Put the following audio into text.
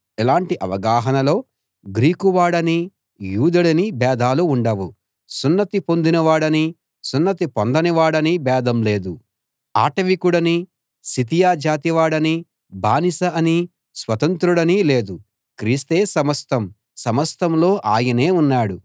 ఇలాంటి అవగాహనలో గ్రీకు వాడనీ యూదుడనీ భేదాలు ఉండవు సున్నతి పొందిన వాడనీ సున్నతి పొందని వాడనీ భేదం లేదు ఆటవికుడనీ సితియా జాతివాడనీ బానిస అనీ స్వతంత్రుడనీ లేదు క్రీస్తే సమస్తం సమస్తంలో ఆయనే ఉన్నాడు